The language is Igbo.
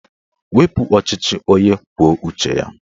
Wepu ọchịchị onye kwuo uche ya!